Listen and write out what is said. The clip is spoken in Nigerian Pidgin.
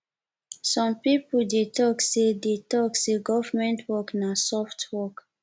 some pipo dey talk sey dey talk sey government work na soft work